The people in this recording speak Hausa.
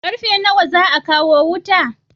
Karfe nawa za a kawo wuta?